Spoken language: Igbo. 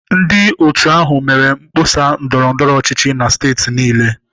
Ndị otu ahụ mere mkpọsa ndọrọ ndọrọ ọchịchị na steeti niile.